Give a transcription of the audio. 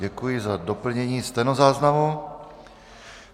Děkuji za doplnění stenozáznamu.